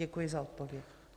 Děkuji za odpověď.